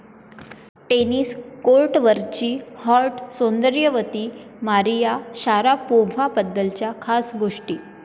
tennis कोर्टवरची hot सौंदर्यवती Maria शारापोव्हाबद्दलच्या खास गोष्टी